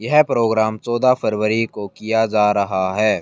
यह प्रोग्राम चौदह फरवरी को किया जा रहा है।